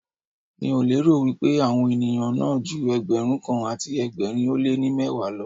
Mi ò lérò wípé àwọn ènìyàn náà ju Ẹgbẹ̀rún kan àti ẹgbẹ̀rin ó lé ní mẹ́wàá lọ.